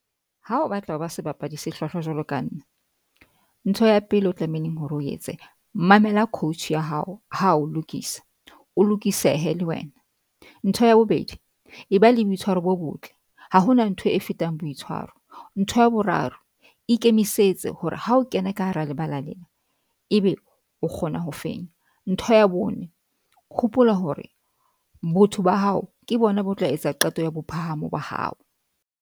Ha o batla ho ba sebapadi se hlwahlwa jwalo ka nna. Ntho ya pele o tlamehileng hore o etse mamela coach ya hao. Ha o lokisa, o lokisehe le wena. Ntho ya bobedi e ba le boitshwaro bo botle. Ha hona ntho e fetang boitshwaro. Ntho ya boraro ikemisetse hore ha o kena ka hara lebala lena, ebe o kgona ho fenya. Ntho ya bone, hopola hore botho ba hao ke bona bo tla etsa qeto ya bophahamo ba hao.